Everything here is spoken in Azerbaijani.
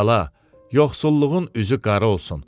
Bala, yoxsulluğun üzü qara olsun.